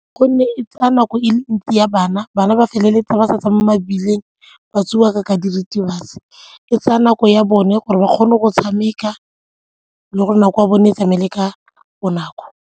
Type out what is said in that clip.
Gonne e tsaya nako e le ntsi ya bana, bana ba feleletsa ba sa tsa mo mebileng ba tseiwa ka diritibatsi, e tsaya nako ya bone gore ba kgone go tshameka le gore nako ya bone e tsamaele ka bonako.